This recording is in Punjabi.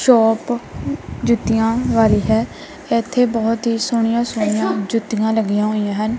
ਸ਼ੋਪ ਜੁੱਤੀਆਂ ਵਾਲੀ ਹੈ ਇੱਥੇ ਬਹੁਤ ਹੀ ਸੋਹਣੀਆਂ-ਸੋਹਣੀਆਂ ਜੁੱਤੀਆਂ ਲੱਗੀਆਂ ਹੋਈਆਂ ਹਨ।